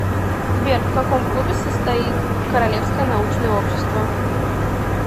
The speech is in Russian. сбер в каком клубе состоит королевское научное общество